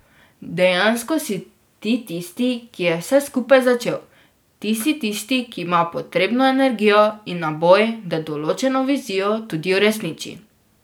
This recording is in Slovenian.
Dejansko si ti tisti, ki je vse skupaj začel, ti si tisti, ki ima potrebno energijo in naboj, da določeno vizijo tudi uresniči.